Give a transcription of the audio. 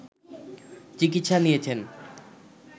চিকিৎসা নিয়েছেন